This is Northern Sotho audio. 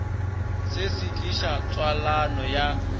se se tliša tswalano ya